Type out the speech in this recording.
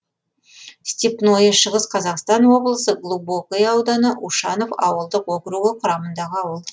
степное шығыс қазақстан облысы глубокое ауданы ушанов ауылдық округі құрамындағы ауыл